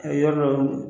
A yɔrɔ dɔ